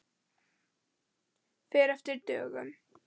Fer eftir dögum.